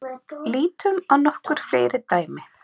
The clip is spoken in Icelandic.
Lítum á nokkur fleiri dæmi.